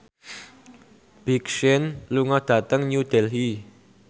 Big Sean lunga dhateng New Delhi